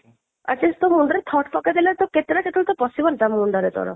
atleast ତୋ ମୁଣ୍ଡ ରେ thought ଟା ପକେଇ ଦେଲେ ତ କେତେ ନା କେତେବେଳେ ତ ପଶିବ ତୋ ମୁଣ୍ଡ ରେ ତୋର